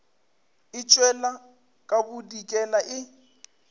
e tšwela ka bodikela e